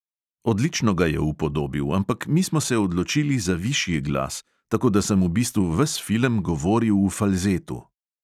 Odlično ga je upodobil, ampak mi smo se odločili za višji glas, tako da sem v bistvu ves film govoril v falzetu.